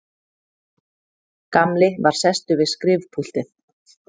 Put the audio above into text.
Gamli var sestur við skrifpúltið.